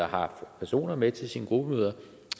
har personer med til sine gruppemøder